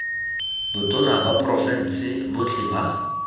botona ba porofense botlhe ba